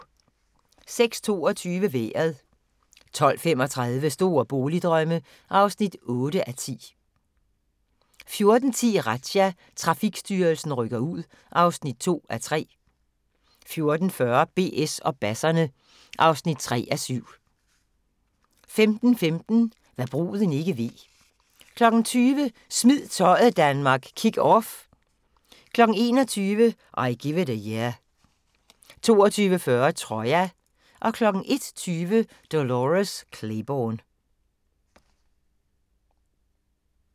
06:22: Vejret 12:35: Store boligdrømme (8:10) 14:10: Razzia – Trafikstyrelsen rykker ud (2:3) 14:40: BS og basserne (3:7) 15:15: Hva' bruden ikke ved 20:00: Smid tøjet Danmark – Kick Off 21:00: I Give It A Year 22:40: Troja 01:20: Dolores Claiborne